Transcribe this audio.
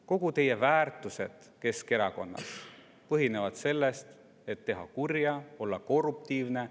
Kõik teie väärtused Keskerakonnas põhinevad sellel, et teha kurja, olla korruptiivne.